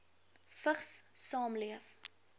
vigs saamleef